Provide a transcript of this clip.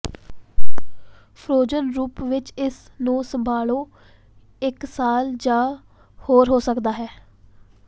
frozen ਰੂਪ ਵਿੱਚ ਇਸ ਨੂੰ ਸੰਭਾਲੋ ਇੱਕ ਸਾਲ ਜ ਹੋਰ ਹੋ ਸਕਦਾ ਹੈ